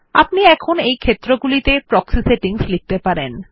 আপনি এখন এই ক্ষেত্র গুলিতে প্রক্সি সেটিংস লিখতে পারেন